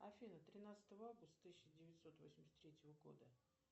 афина тринадцатого августа тысяча девятьсот восемьдесят третьего года